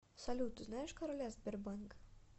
салют ты знаешь короля сбербанка